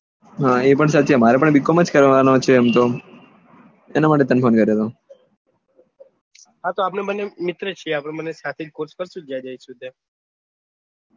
હા એ પણ સાચી વાત મારે પણ BCOM કરવાનું છે એમ તો એના માટે તને phone કરેલો હા તો આપડે બંને મિત્ર છીએ આપડે બંને ખોજ કરીશું જ્યાં જૈસુ ત્યાં